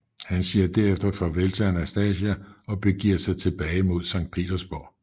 Han siger derefter farvel til Anastasia og begiver sig tilbage mod Sankt Petersborg